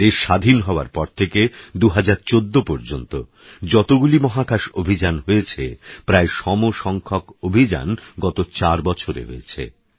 দেশস্বাধীনহওয়ারপরথেকে২০১৪পর্যন্তযতগুলিমহাকাশঅভিযানহয়েছে প্রায়সমসংখ্যকঅভিযানগতচারবছরেহয়েছে